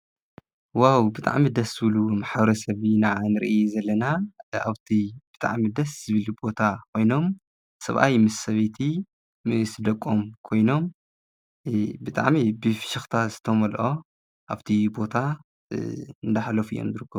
ዋው ብጣዕሚ ድስ ዝብሉ ማሕበረሰብ ኢና ንሪኢ ዘለና ኣብቲ ብጣዕሚ ደስ ዝብል ቦታ ኮይኖም ሰብኣይ ምስ ሰበይቲ ምስደቆም ኮይኖም ብጣዕሚ ብፍሽክታ ዝተመልኦ ኣብቲ ቦታ እንደሕለፉ እዮም ዝርከቡ።